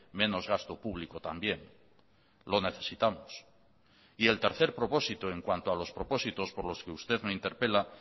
menos gasto público también lo necesitamos y el tercer propósito en cuanto a los propósitos por los que usted me interpela